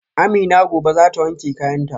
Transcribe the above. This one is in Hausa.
Amina gobe zata wanke kayanta